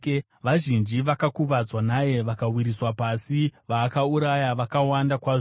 Vazhinji vakakuvadzwa naye vakawisirwa pasi; vaakauraya vakawanda kwazvo.